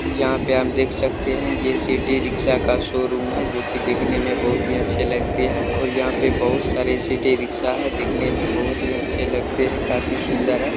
यहाँ पे हम देख सकते हैये सिटीरिक्शा का शोरूम है जो की दिखने में बहुत ही अच्छे लगते है और यहाँ पर बहुत सारीसिटी रिक्शा है दिखने में बहुत ही अच्छे लगते है काफी सूंदर है।